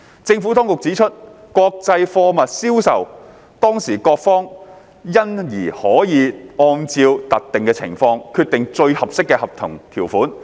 政府當局指出，國際貨物銷售當事各方因而可按照特定情況，決定最適合的合同條款。